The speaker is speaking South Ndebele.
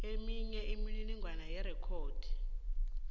eminye imininingwana yerekhodi